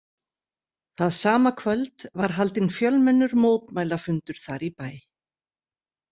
Það sama kvöld var haldinn fjölmennur mótmælafundur þar í bæ.